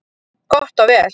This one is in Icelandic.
Gott vel.